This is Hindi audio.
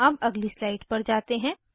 अब अगली स्लाइड पर जाते हैं